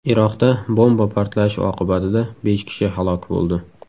Iroqda bomba portlashi oqibatida besh kishi halok bo‘ldi.